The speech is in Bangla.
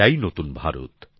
এটাই নতুন ভারত